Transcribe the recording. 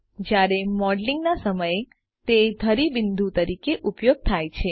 જ્યારે મોડેલિંગના સમય તે ધરી બિંદુ તરીકે ઉપયોગ થાય છે